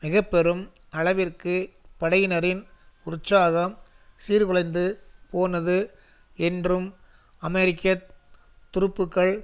மிக பெரும் அளவிற்கு படையினரின் உற்சாகம் சீர்குலைந்து போனது என்றும் அமெரிக்க துருப்புக்கள்